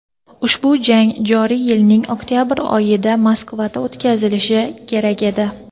ushbu jang joriy yilning oktyabr oyida Moskvada o‘tkazilishi kerak edi.